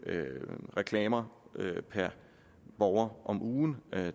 reklamer per borger om ugen